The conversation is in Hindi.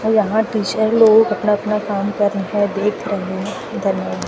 यहां टीचर लोग अपना अपना काम कर देख रहे हैं --